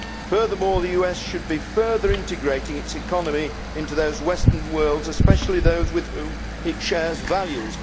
Furthermore, the US should be further integrating its economy into those of the western world, especially those with whom it shares values.